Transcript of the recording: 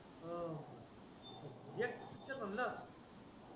एक तर म्हणणं ये